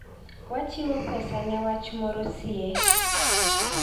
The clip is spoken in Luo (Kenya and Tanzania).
Wachiwo pesa ne wach moro sie.